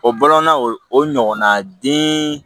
O bolonɔn na o ɲɔgɔnna den